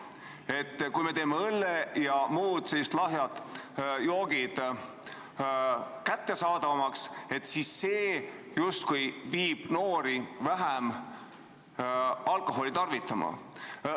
Et kui me teeme õlle ja muud lahjemad joogid kättesaadavamaks, siis see justkui suunab noori vähem alkoholi tarvitama.